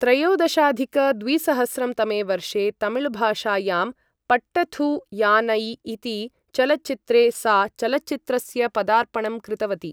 त्रयोदशाधिक द्विसहस्रं तमे वर्षे तमिलभाषायां पट्टथु यानाई इति चलच्चित्रे सा चलच्चित्रस्य पदार्पणं कृतवती ।